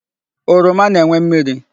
Oroma na-enwe mmiri.